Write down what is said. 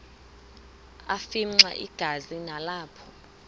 afimxa igazi nalapho